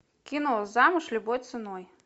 кино замуж любой ценой